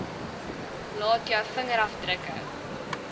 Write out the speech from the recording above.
laat jou vingerafdrukke